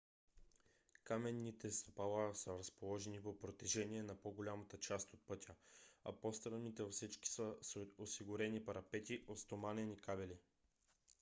каменните стъпала са разположени по протежение на по - голямата част от пътя а по-стръмните отсечки са с осигурени парапети от стоманени кабели